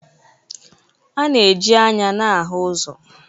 A na-eji anya na-ahụ ụzọ